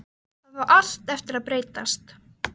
Það á allt eftir að breytast!